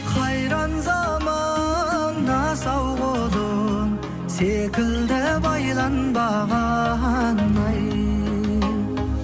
қайран заман асау құлын секілді байланбаған ай